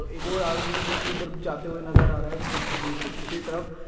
एक ओर आदमी है जोकि उधर जाते हुए नजर आ रहा है दू-दू-स् दूसरी तरफ।